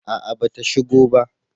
A'a ba ta shigo ba